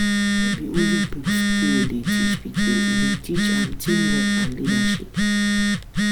No be only book school dey teach pikin, e dey teach am teamwork and leadership.